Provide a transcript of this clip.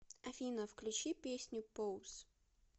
афина включи песню поус